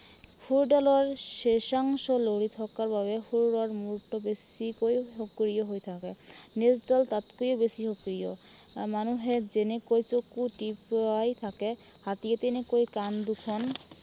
শুৰডালৰ শেষাংশলৈ থকাৰ বাবে শুৰ আৰু মূৰটো বেছিকৈ সক্ৰিয় হৈ থাকে। নেজডাল তাতকৈও বেছি সক্ৰিয়। আহ মানুহে যেনেকৈ চকু টিপিয়াই থাকে, হাতীয়ে তেনেকৈ কাণ দুখন